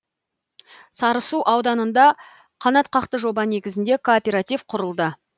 сарысу ауданында қанатқақты жоба негізінде кооператив құрылды